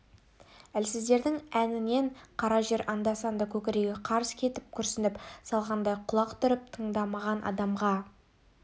әлсіздердің әнінен қара жер анда-санда көкірегі қарс кетіп күрсініп салғандай құлақ түріп тыңдаған адамға